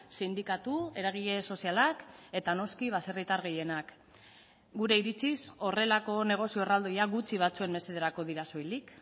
sindikatu eragile sozialak eta noski baserritar gehienak gure iritziz horrelako negozio erraldoia gutxi batzuen mesederako dira soilik